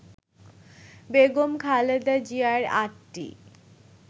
বেগম খালেদা জিয়ার ৮টি